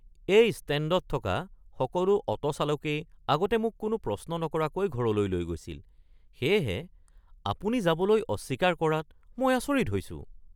এই ষ্টেণ্ডত থকা সকলো অ’টো চালকেই আগতে মোক কোনো প্ৰশ্ন নকৰাকৈ ঘৰলৈ লৈ গৈছিল, সেয়েহে আপুনি যাবলৈ অস্বীকাৰ কৰাত মই আচৰিত হৈছোঁ! (যাত্ৰী)